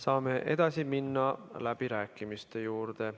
Saame edasi minna läbirääkimiste juurde.